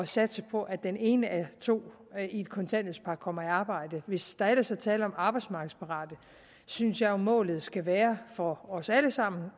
satse på at den ene af to i et kontanthjælpspar kommer i arbejde hvis der ellers er tale om arbejdsmarkedsparate synes jeg jo målet skal være for os alle sammen